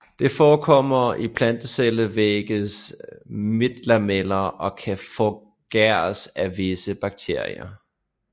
Det forekommer i plantecellevægges midtlameller og kan forgæres af visse bakterier